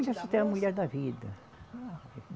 da moça? é a mulher da vida.